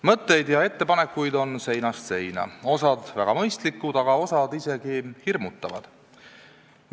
Mõtteid ja ettepanekuid on seinast seina, osa on väga mõistlikud, aga osa isegi hirmutavad.